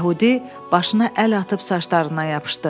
Yəhudi başına əl atıb saçlarından yapışdı.